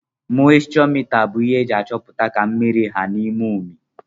moischọ mita bu ihe eji achọputa ka mmiri ha n'ime umi.